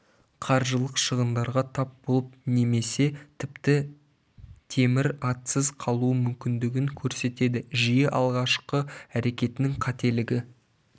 қаржылық шығындарға тап болып немесі тіпті темір атсыз қалуы мүмкіндігін көрсетеді жиі алғашқы әрекеттерінің қателігі